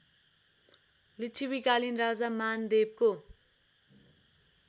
लिच्छविकालीन राजा मानदेवको